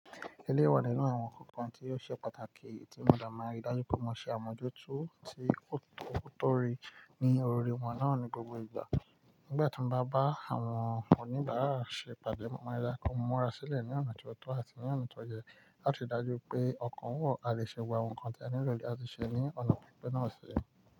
Ẹléyii wa nínú àwọn nkankan tí ó ṣe pàtàkì tí mo de máa rí dájú pé wọn ṣe àmójútó tí ó tọ́, ó tó rí ní òri wọn náà ní gbogbo ìgbà. Nígbà tí n bá bá àwọn oníbàárà ṣe pàdé, wọ́n máa ri daju pe mo múra sílẹ̀ ní ọ̀nà tó ọ̀tọ̀ àti ní ọ̀nà tó yẹ láti ri dájú pé ọ̀kan wọ̀ a lè ṣẹ.gbogbo àwọn nǹkan tí a nilò lati ṣe ní ọ̀nà pípẹ́ náà ṣe.